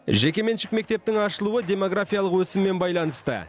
жекеменшік мектептің ашылуы демографиялық өсіммен байланысты